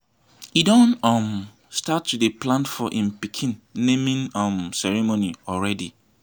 he don um start to dey plan for im pikin naming um ceremony already